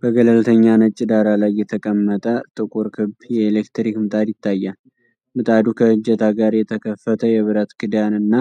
በገለልተኛ ነጭ ዳራ ላይ የተቀመጠ ጥቁር ክብ የኤሌክትሪክ ምጣድ ይታያል። ምጣዱ ከእጀታ ጋር የተከፈተ የብረት ክዳን እና